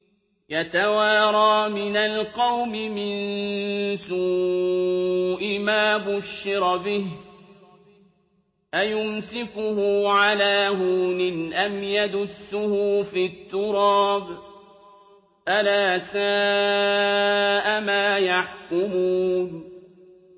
يَتَوَارَىٰ مِنَ الْقَوْمِ مِن سُوءِ مَا بُشِّرَ بِهِ ۚ أَيُمْسِكُهُ عَلَىٰ هُونٍ أَمْ يَدُسُّهُ فِي التُّرَابِ ۗ أَلَا سَاءَ مَا يَحْكُمُونَ